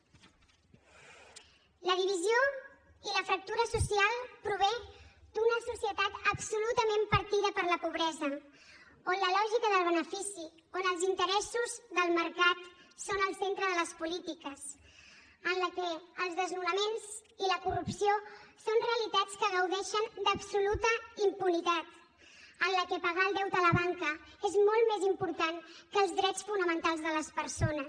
la divisió i la fractura social prové d’una societat absolutament partida per la pobresa on la lògica del benefici on els interessos del mercat són el centre de les polítiques en la que els desnonaments i la corrupció són realitats que gaudeixen d’absoluta impunitat en la que pagar el deute a la banca és molt més important que els drets fonamentals de les persones